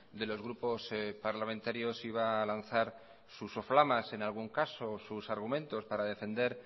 de los grupos parlamentarios iba a lanzar sus soflamas en algún caso sus argumentos para defender